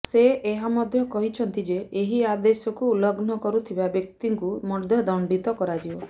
ସେ ଏହା ମଧ୍ୟ କହିଛନ୍ତି ଯେ ଏହି ଆଦେଶକୁ ଉଲ୍ଲଂଘନ କରୁଥିବା ବ୍ୟକ୍ତିଙ୍କୁ ମଧ୍ୟ ଦଣ୍ଡିତ କରାଯିବ